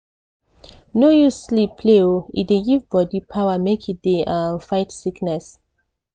no use sleep play o e dey give body power make e dey um fight sickness.